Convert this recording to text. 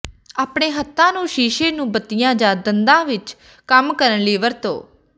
ਆਪਣੇ ਹੱਥਾਂ ਨੂੰ ਸ਼ੀਸ਼ੇ ਨੂੰ ਬੱਤੀਆਂ ਜਾਂ ਦੰਦਾਂ ਵਿੱਚ ਕੰਮ ਕਰਨ ਲਈ ਵਰਤੋ